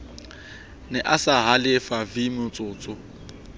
ne a sa halefe vmotsotso